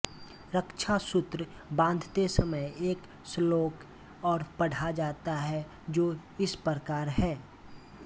रक्षासूत्र बाँधते समय एक श्लोक और पढ़ा जाता है जो इस प्रकार है